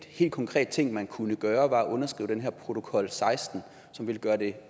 hel konkret ting man kunne gøre ville være at underskrive den her protokol seksten som ville gøre det